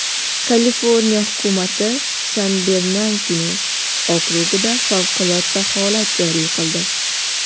Kaliforniya hukumati San-Bernardino okrugida favqulodda holat joriy qildi.